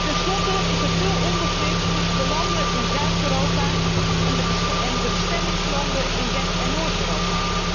Tenslotte is er veel onbegrip tussen de landen in Zuid Europa en de bestemmingslanden in West en Noord Europa.